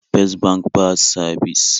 Fes bank ba sabis